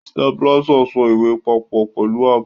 Stapler so ìwé papọ̀ pẹ̀lú ààbò.